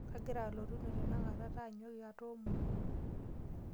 Kagira alotu ine tenakata taanyuaki atoomono.